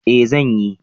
Eh zan yi